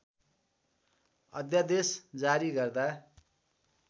अध्‍यादेश जारी गर्दा